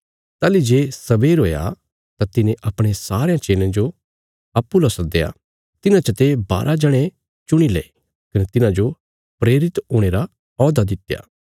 ताहली जे सबेर हुया तां तिने अपणे सारयां चेलयां जो अप्पूँ लौ सद्दया तिन्हां चते बारा जणे चुणीले कने तिन्हाजो प्रेरित हुणे रा औहदा दित्या